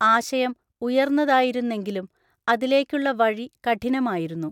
ആശയം ഉയർന്നതായിരുന്നെങ്കിലും അതിലേക്കുള്ള വഴി കഠിനമായിരുന്നു.